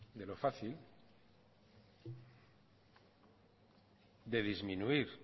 de lo fácil de disminuir